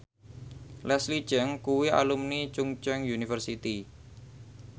Leslie Cheung kuwi alumni Chungceong University